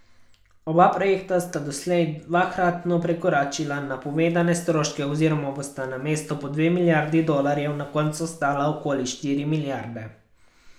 Oba projekta sta doslej dvakratno prekoračila napovedane stroške oziroma bosta namesto po dve milijardi dolarjev na koncu stala okoli štiri milijarde.